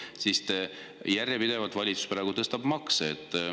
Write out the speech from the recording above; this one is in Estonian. Ometi valitsus järjepidevalt tõstab makse.